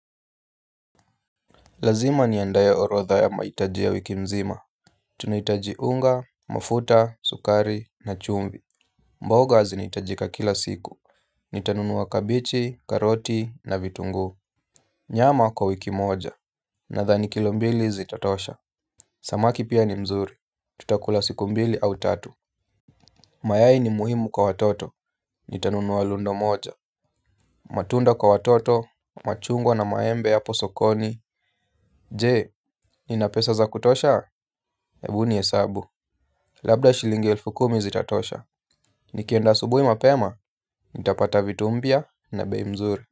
Lazima niandae orodha ya mahitaji ya wiki mzima. Tunahitaji unga, mafuta, sukari, na chumvi. Mboga zinahitajika kila siku. Nitanunua kabeji, karoti, na vitunguu. Nyama kwa wiki moja. Nadhani kilo mbili zitatosha. Samaki pia ni mzuri. Tutakula siku mbili au tatu. Mayai ni muhimu kwa watoto. Nitanunua lundo moja. Matunda kwa watoto. Machungwa na maembe hapo sokoni. Je, nina pesa za kutosha? Ebu nihesabu. Labda shilingi elfu kumi zitatosha. Nikienda asubuhi mapema, nitapata vitu mpya na bei mzuri.